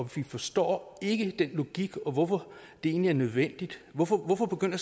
vi forstår ikke den logik og hvorfor det egentlig er nødvendigt hvorfor hvorfor begynder